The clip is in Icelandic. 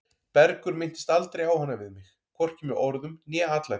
Bergur minntist aldrei á hana við mig, hvorki með orðum né atlæti.